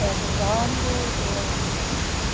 Perguntando, eu.